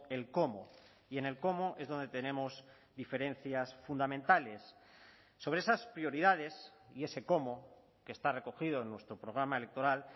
el cómo y en el cómo es donde tenemos diferencias fundamentales sobre esas prioridades y ese cómo que está recogido en nuestro programa electoral